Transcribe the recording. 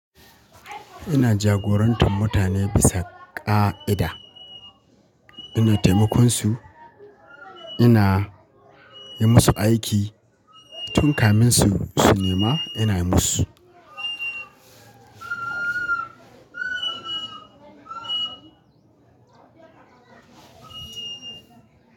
Ina jagorantar mutane bisa ƙa'ida. Ina taimako su, ina yi musu aiki tun kamin su su nema ina yi musu.